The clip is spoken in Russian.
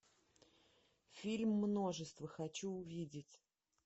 фильм множество хочу увидеть